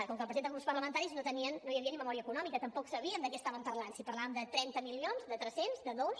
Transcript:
com que el presenten grups parlamentaris no hi havia ni memòria econòmica tampoc sabíem de què estàvem parlant si parlàvem de trenta milions de tres cents de dos